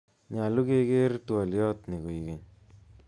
Nyalu keker twoliot ni koikeny